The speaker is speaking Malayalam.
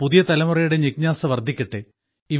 പുതിയ തലമുറയുടെ ജിജ്ഞാസ വർദ്ധിക്കട്ടെ